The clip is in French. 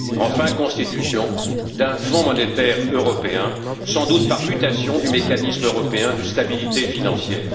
enfin, constitution d'un Fonds monétaire européen, sans doute par mutation du mécanisme européen de stabilité financière.